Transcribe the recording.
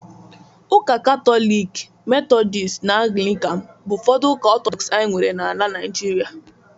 Ụka Katọlik, Methodist na Anglịkan bụ ụfọdụ ụka Ọtọdọks anyị nwere na na Naịjirịa